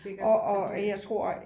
Og jeg tror